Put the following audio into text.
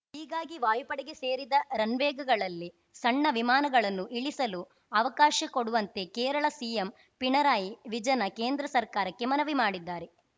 ಹೀಗಾಗಿ ವಾಯುಪಡೆಗೆ ಸೇರಿದ ರನ್‌ವೇಗಳಲ್ಲಿ ಸಣ್ಣ ವಿಮಾನಗಳನ್ನು ಇಳಿಸಲು ಅವಕಾಶ ಕೊಡುವಂತೆ ಕೇರಳ ಸಿಎಂ ಪಿಣರಾಯಿ ವಿಜನ ಕೇಂದ್ರ ಸರ್ಕಾರಕ್ಕೆ ಮನವಿ ಮಾಡಿದ್ದಾರೆ